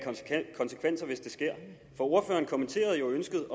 konsekvenser hvis det sker for ordføreren kommenterede jo ønsket